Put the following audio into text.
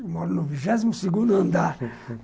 Eu moro no vigésimo segundo andar